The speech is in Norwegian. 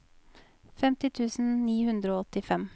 femti tusen ni hundre og åttifem